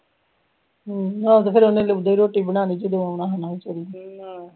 ਹੋਰ ਫਿਰ ਉਹਨੇ ਉਦੂ ਹੀ ਰੋਟੀ ਬਣਾਣੀ ਜਦੋ ਓਹਨੇ ਆਉਣਾ ਹੋਣਾ ਵਿਚਾਰੀ ਨੇ